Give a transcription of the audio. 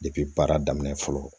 baara daminɛ fɔlɔ